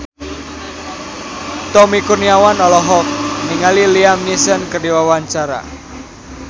Tommy Kurniawan olohok ningali Liam Neeson keur diwawancara